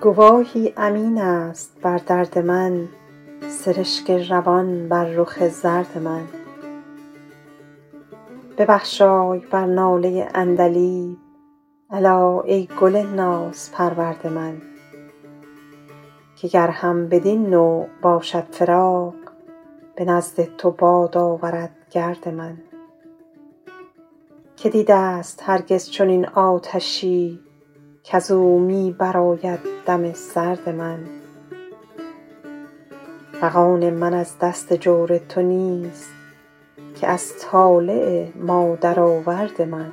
گواهی امین است بر درد من سرشک روان بر رخ زرد من ببخشای بر ناله عندلیب الا ای گل نازپرورد من که گر هم بدین نوع باشد فراق به نزد تو باد آورد گرد من که دیده ست هرگز چنین آتشی کز او می برآید دم سرد من فغان من از دست جور تو نیست که از طالع مادرآورد من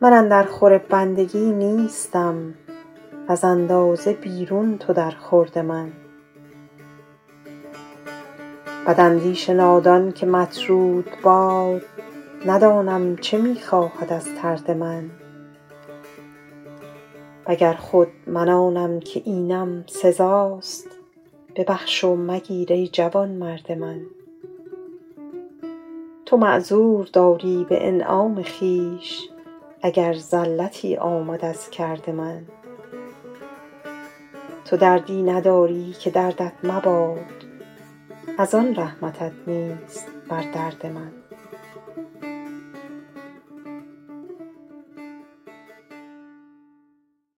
من اندر خور بندگی نیستم وز اندازه بیرون تو در خورد من بداندیش نادان که مطرود باد ندانم چه می خواهد از طرد من و گر خود من آنم که اینم سزاست ببخش و مگیر ای جوانمرد من تو معذور داری به انعام خویش اگر زلتی آمد از کرد من تو دردی نداری که دردت مباد از آن رحمتت نیست بر درد من